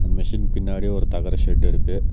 Machine பின்னாடி ஒரு தகர செட் இருக்கு.